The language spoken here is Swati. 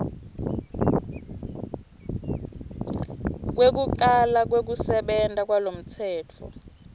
kwekucala kwekusebenta kwalomtsetfo